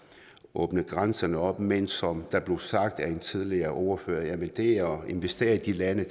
åbne grænserne op men som der blev sagt af en tidligere ordfører at investere investere i de lande